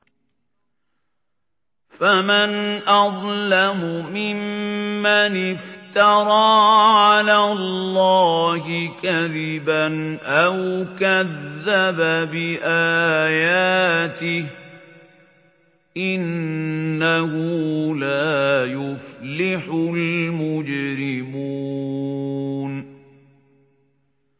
فَمَنْ أَظْلَمُ مِمَّنِ افْتَرَىٰ عَلَى اللَّهِ كَذِبًا أَوْ كَذَّبَ بِآيَاتِهِ ۚ إِنَّهُ لَا يُفْلِحُ الْمُجْرِمُونَ